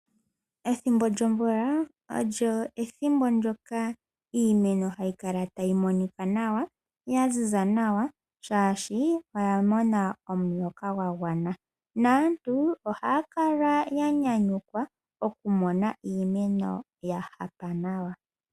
Ethimbo lyomvula olyo ethimbo ndoka iimeno hayi kala tayi monika nawa, ya ziza nawa shashi oya mona omuloka gwa gwana. Naantu ohaa kala ya nyanyukwa oku mona iimeno ya hapa nawa.